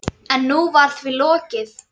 Hvað er með hann?